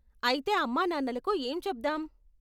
అయితే అమ్మా నాన్నలకు ఏం చెప్దాం?